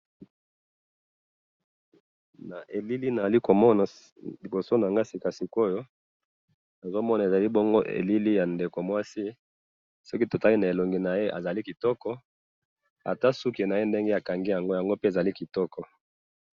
Na elili nazali komona liboso nangayi sikasikoyo, nazomona ezali bongo elili yandeko mwasi, soki totali na elongi naye azali kitoko, ata suki naye ndenge akangi yango yango pe ezali kitoko.